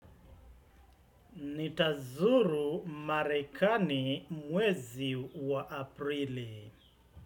Nitazuru marekani mwezi wa aprili.